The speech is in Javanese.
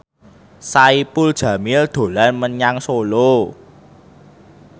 Saipul Jamil dolan menyang Solo